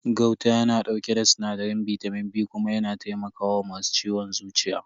Gauta yana dauke da sinadarin bitamin B kuma yana taimaka wa masu ciwon zuciya.